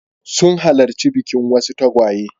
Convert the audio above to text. Sun halarci bikin wasu tagwaye.